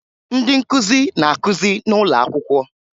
Ndị nkụzi na-akụzi n'ụlọ akwụkwọ